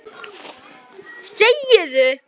Þegi þú!